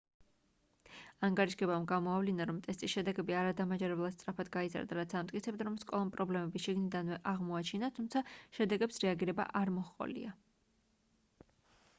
ანგარიშგებამ გამოავლინა რომ ტესტის შედეგები არადამაჯერებლად სწრაფად გაიზარდა რაც ამტკიცებდა რომ სკოლამ პრობლემები შიგნიდანვე აღმოაჩინა თუმცა შედეგებს რეაგირება არ მოჰყოლია